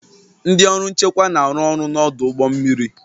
Ndị ọrụ nchekwa na-arụ ọrụ n'ọdụ ụgbọ mmiri